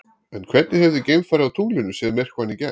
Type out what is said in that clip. En hvernig hefði geimfari á tunglinu séð myrkvann í gær?